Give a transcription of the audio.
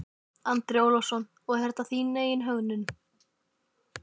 Andri Ólafsson: Og þetta er þín eigin hönnun?